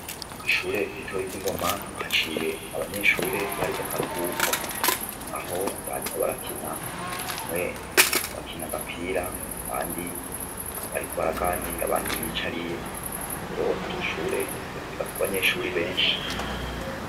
Kwishure ritoya ry'ingoma twahaciye abanyeshure bari mukaruhuko aho bariko barakina bamwe bariko barakina agapira abandi bariko baraganira abandi biyicariye rero iryoshure ryigako abanyeshure benshi .